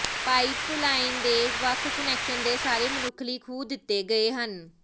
pipeline ਦੇ ਵੱਖ connection ਦੇ ਸਾਰੇ ਮਨੁੱਖ ਲਈ ਖੂਹ ਦਿੱਤੇ ਗਏ ਹਨ